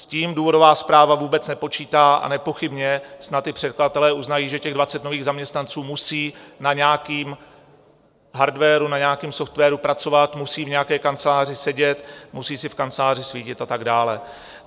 S tím důvodová zpráva vůbec nepočítá, a nepochybně snad i předkladatelé uznají, že těch 20 nových zaměstnanců musí na nějakém hardwaru, na nějakém softwaru pracovat, musí v nějaké kanceláři sedět, musí si v kanceláři svítit a tak dále.